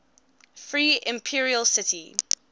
free imperial city